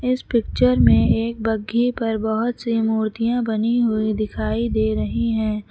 इस पिक्चर में एक बघ्घी पर बहोत सी मूर्तियां बनी हुई दिखाई दे रही है।